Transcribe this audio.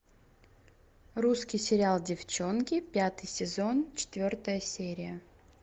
русский сериал девчонки пятый сезон четвертая серия